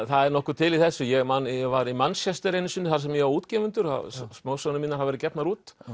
það er nokkuð til í þessu ég man að ég var í Manchester þar sem ég á útgefendur sem smásögurnar mínar hafa verið gefnar út